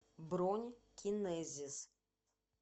бронь кинезис